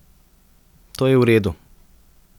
To je v redu.